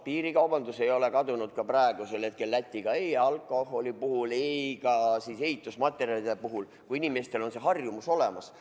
Piirikaubandus Lätiga ei ole kadunud ka praegusel hetkel, ei alkoholi ega ka ehitusmaterjalidega seoses, sest inimestel on see harjumus olemas.